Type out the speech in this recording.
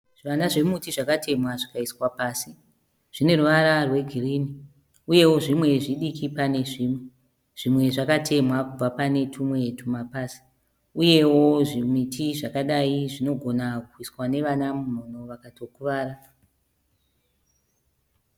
Zvivana zvemuti zvakatemwa zvikaiswa pasi. Zvine ruvara rwegirini uyewo zvimwe zvidiki pane zvimwe. Zvimwe zvakatemwa kubva pane tumwe tumapazi uyewo zvimiti zvakadai zvinogona kuiswa nevana mumhino vakatokuvara.